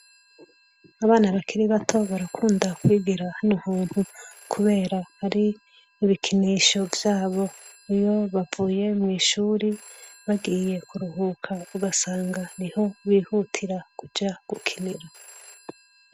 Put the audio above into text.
Abana bakiri bato barakunda kwigera hani uhuntu, kubera hari ibikinisho vyabo iyo bavuye mw'ishuri bagiye kuruhuka ugasanga ni ho bihutira kuja gukinira.